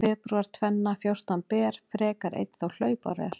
Febrúar tvenna fjórtán ber frekar einn þá hlaupár er.